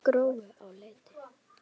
Gróu á Leiti.